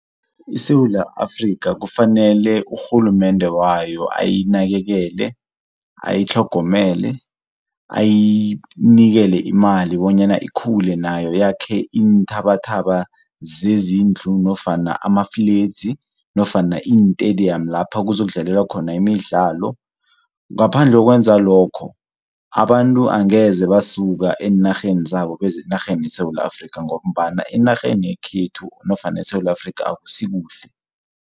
ISewula Afrika kufanele urhulumende wayo ayinakekele, ayitlhogomele, ayinikele imali bonyana ikhule nayo yakhe iinthabathaba zezindlu nofana amafledzi, nofana iintediyamu lapha kuzokudlalelwa khona imidlalo. Ngaphandle kokwenza lokho abantu angeze basuka eenarheni zabo beze enarheni yeSewula Afrika ngombana enarheni yekhethu nofana eSewula Afrika akusikuhle.